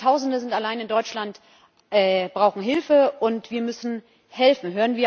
Hunderttausende sind allein in Deutschland, brauchen Hilfe und wir müssen helfen.